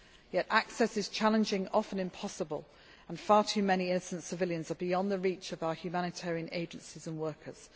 disputed. Yet access is challenging often impossible and far too many innocent civilians are beyond the reach of our humanitarian agencies and